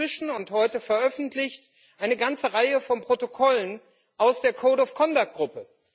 Wir haben inzwischen und heute veröffentlicht eine ganze Reihe von Protokollen aus der Code of Conduct Gruppe.